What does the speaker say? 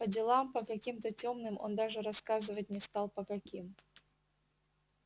по делам по каким-то тёмным он даже рассказывать не стал по каким